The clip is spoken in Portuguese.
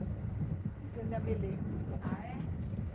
Isso eu ainda me lembro. A é?